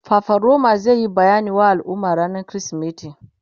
fafaroma zai Yi bayani wa al'umma rannan krismeti